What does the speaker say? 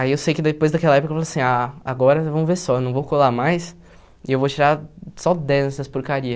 Aí eu sei que depois daquela época eu falei assim, ah, agora vamos ver só, eu não vou colar mais e eu vou tirar só dez nessas porcaria.